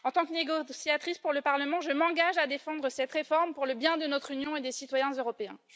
En tant que négociatrice pour le Parlement, je m'engage à défendre cette réforme pour le bien de notre Union et des citoyens européens.